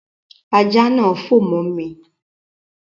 Ajá náà fò mọ́ mi